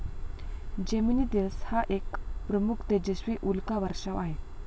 Geminids हा एक प्रमुख, तेजस्वी उल्का वर्षाव आहे.